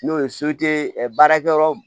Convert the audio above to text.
N'o ye baarakɛyɔrɔ